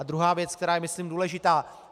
A druhá věc, která je myslím důležitá.